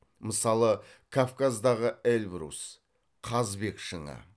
мысалы кавказдағы эльбрус қазбек шыңы